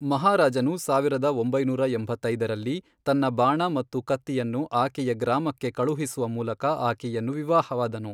ಮಹಾರಾಜನು ಸಾವಿರದ ಒಂಬೈನೂರ ಎಂಬೈತ್ತದರಲ್ಲಿ, ತನ್ನ ಬಾಣ ಮತ್ತು ಕತ್ತಿಯನ್ನು ಆಕೆಯ ಗ್ರಾಮಕ್ಕೆ ಕಳುಹಿಸುವ ಮೂಲಕ ಆಕೆಯನ್ನು ವಿವಾಹವಾದನು.